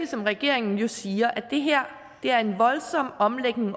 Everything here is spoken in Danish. som regeringen jo siger at det her er en voldsom omlægning